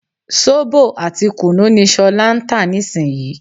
Sóbò àti kùnú ni ṣọlá ń tà nísìnyí